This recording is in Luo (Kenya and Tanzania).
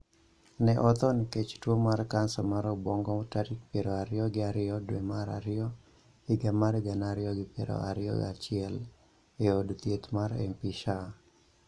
ne otho nikech tuo mar kansa mar obwongo tarik piero ariyo gi ariyo dwe mar ariyo higa mar gana ariyi gi piero ariyo gi achiel, e od thieth mar MP Shah.